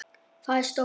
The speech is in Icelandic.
Það er stórt.